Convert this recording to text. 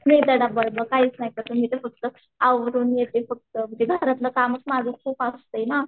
मी तर डब्बा बिब्बा काहीच नाही करत मी तर फक्त आवरूनच येते फक्त म्हणजे घरातलं कामच माझं खूप असतं ना.